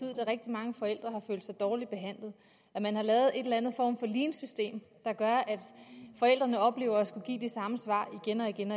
at rigtig mange forældre har følt sig dårligt behandlet at man har lavet en eller anden form for leansystem der gør at forældrene oplever at skulle give de samme svar igen og igen